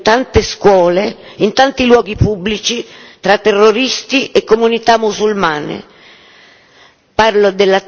Parlo del legame stabilito in tante scuole, in tanti luoghi pubblici tra terroristi e comunità musulmane.